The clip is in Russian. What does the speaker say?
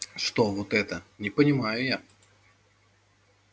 что вот это не понимаю я